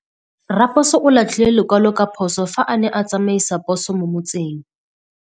Raposo o latlhie lekwalô ka phosô fa a ne a tsamaisa poso mo motseng.